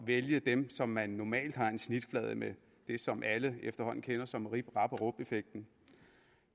vælge dem som man normalt har en snitflade med det som alle efterhånden kender som rip rap og rup effekten